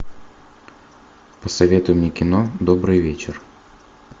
посоветуй мне кино добрый вечер